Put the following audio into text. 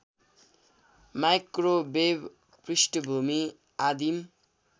microwave पृष्ठभूमि आदिम